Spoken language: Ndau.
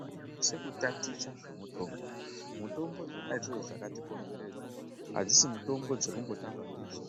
Vanhu vanosisa kutaticha zvemitombo, mutombo dzona idzodzo dzakatikomberedza adzisi mitombo dzekumbotamba ndidzo